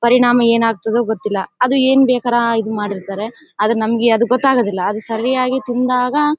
ಪರಿಣಾಮ ಏನಾಗ್ತದೋ ಗೊತ್ತಿಲ್ಲ ಅದು ಏನು ಬೇಕಾರ ಇದು ಮಾಡಿರ್ತಾರೆ ಆದ್ರೆ ನಮಗೆ ಅದು ಗೊತ್ತಾಗೋದಿಲ್ಲ ಅದು ಸರಿಯಾಗಿ ತಿಂದಾಗ--